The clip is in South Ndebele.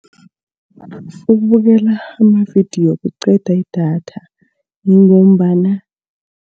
Ikubukela amavidiyo okuqeda idatha njengombana.